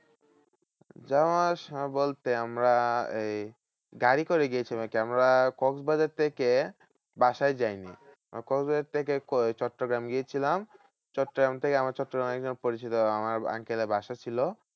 যাওয়া আসা বলতে আমরা এই গাড়ি করে গিয়েছি আমরা কক্সবাজার থেকে বাসায় যায়নি। কক্সবাজার থেকে চট্টগ্রাম গিয়েছিলাম। চট্টগ্রাম থেকে আমরা চট্টগ্রামে একজন পরিচিত আমার uncle এর বাসা ছিল।